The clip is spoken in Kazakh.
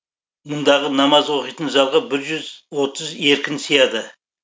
мұндағы намаз оқитын залғы бір жүз отыз еркін сияды